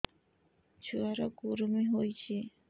ଛୁଆ ର କୁରୁମି ହୋଇଛି